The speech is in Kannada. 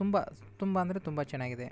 ತುಂಬಾ ತುಂಬಾ ಅಂದ್ರೆ ತುಂಬಾನೇ ಚೆನ್ನಾಗಿದೆ.